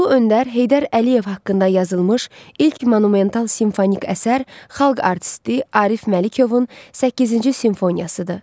Ulu Öndər Heydər Əliyev haqqında yazılmış ilk monumental simfonik əsər xalq artisti Arif Məlikovun səkkizinci simfoniyasıdır.